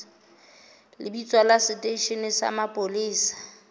lebitso la seteishene sa mapolesa